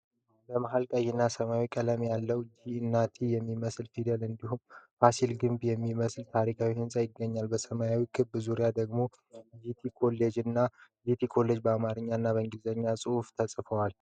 በመሃል ቀይና ሰማያዊ ቀለም ያለው 'ጂ' እና 'ቲ' የሚመስል ፊደል እንዲሁም ፋሲል ግቢ የሚመስል ታሪካዊ ህንፃ ይገኛል። በሰማያዊው ክብ ዙሪያ ደግሞ "ጂቲ ኮሌጅ" እና "GT COLLEGE" በአማርኛ እና በእንግሊዝኛ ተጽፈዋል።